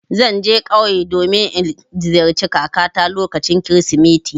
Zan je ƙauye domin in ziyarci kakata lokacin Kirsimeti.